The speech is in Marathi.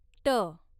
ट